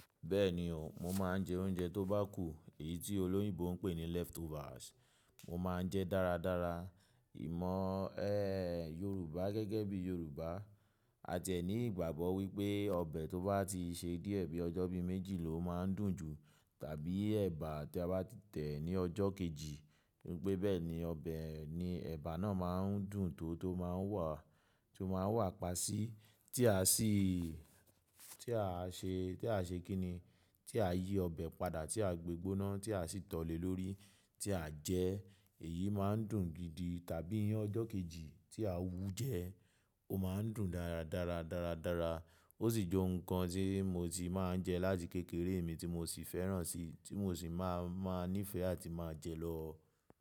Bẹ́ẹ̀ni o, mo máa ń jẹ oúnjẹ tó bá kù, èyí tí olóyìnbo ń pè ní leftovers. Mo máa ń jẹ dáradára. Ìmọ̀, ẹ́, Yorùbá gẹ́gẹ́ bí Yorùbá a tiẹ̀ ní ìgbàgbọ́ wípé ọbẹ̀ tó bá ti ṣe díẹ̀ bí ọjọ́ bí méjì ló máa ń dùn jù tàbí ẹ̀bà tí a bá ti tẹ̀ ní ọjọ́ kejì, wípé bẹ́ẹ̀ni ọbẹ̀ ni ẹ̀bà náà máa ń dùn tó tó máa ń wà, tó máa ń wà pa sí tí a sì, tí a ṣe, tí a ṣe kí ni, tí a yí ọbẹ̀ padà tí a gbegbóná tí a sì tọ̀ lèlórí tí à jẹ, èyí máa ń dùn gidi tàbí ọjọ́ kejì tí à wú jẹ, ó máa ń dùn dára dáradára. Ó sì j'ọun kan tí mo ti máa ń jẹ láti kékeré mi tí mo sì fẹ́ràn sí, tí mo sì máa, máa nífẹ̀ẹ́ àti máa jẹ lọ.